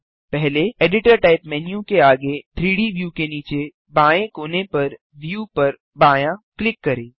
पहले editor type menu के आगे 3डी व्यू के नीचे बाएँ कोने पर व्यू पर बायाँ क्लिक करें